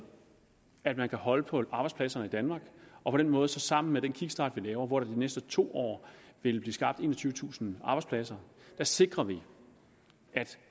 at man kan holde på arbejdspladserne i danmark og på den måde sammen med den kickstart vi laver hvor der de næste to år vil blive skabt enogtyvetusind arbejdspladser sikrer vi at